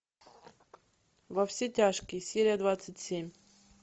во все тяжкие серия двадцать семь